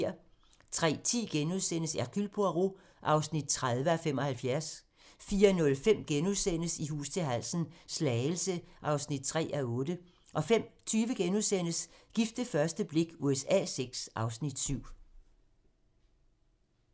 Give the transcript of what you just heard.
03:10: Hercule Poirot (30:75)* 04:05: I hus til halsen - Slagelse (3:8)* 05:20: Gift ved første blik USA VI (Afs. 7)*